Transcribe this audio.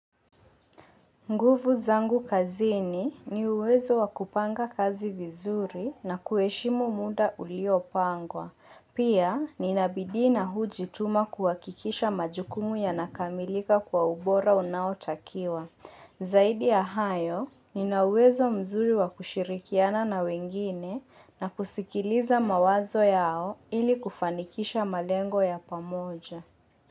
Nguvu zangu kazini ni uwezo wa kupanga kazi vizuri na kuheshimu muda uliopangwa. Pia, nina bidui na hujituma kuhakikisha majukumu yanakamilika kwa ubora unaotakiwa. Zaidi ya hayo, nina uwezo mzuri wakushirikiana na wengine na kusikiliza mawazo yao ili kufanikisha malengo ya pamoja.